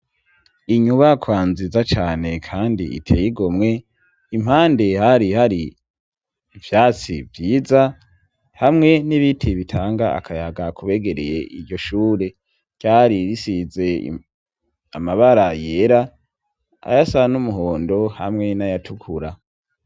Inyubaka nziza cane, kandi iteyigomwe impande hari h ari ivyatsi vyiza hamwe n'ibitiye bitanga akayaga kubegereye iryo shure ryari risize amabara yera ayasan'umuhondo hamwe n'ayatukura.